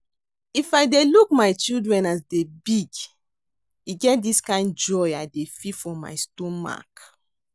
If I dey look my children as dey big E get dis kind joy I dey feel for my stomach